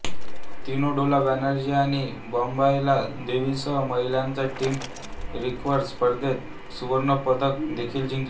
तिने डोला बॅनर्जी आणि बॉम्बायला देवीसह महिलांच्या टीम रिकर्व्ह स्पर्धेत सुवर्ण पदक देखील जिंकले